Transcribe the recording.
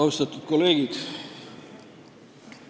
Austatud kolleegid!